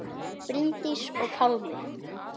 Bryndís og Pálmi.